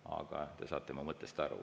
Aga te saate mu mõttest aru.